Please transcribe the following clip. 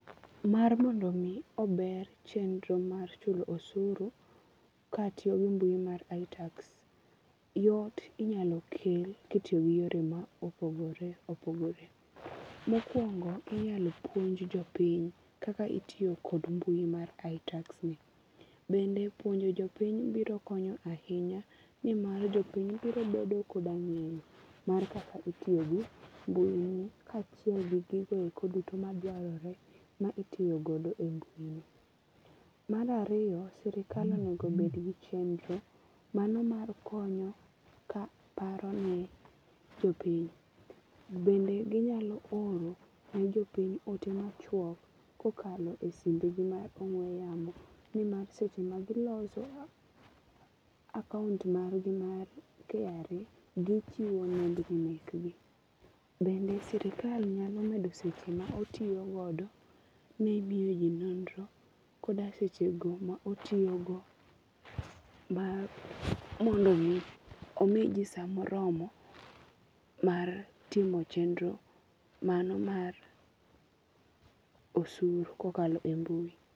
Mar mondo mi ober chenro mar chulo osuru katiyo gi mbui mar itax, yot inyalo kel kitiyo gi yore ma opogore opogore. Mokuongo inyalo puonj jopiny kaka itiyo kod mbui mar itax ni, bende puonjo jopiny biro konyo ahinya nimar jopiny biro bedo koda ng'eyo mar kaka itiyo gi mbui ni kachiel gi gigo eko duto ma dwarore mitiyo godo e mbui no.Mar ariyo sirkal onego obed gi chenro mano mar konyo ka paro ne jopiny. Bende ginyalo oro ne jopiny ote machuok kokalo e simbgi mar ong'we yamo nimar seche ma giloso akaunt margi mar KRA gichiwo nembni mekgi. Bende sirkal nyalo medo seche ma otiyo godo ne miyo jii nonro koda seche go ma otiyo go mar mondo omi ji saa moromo mar timo chenro mano mar osuru kokalo e mbui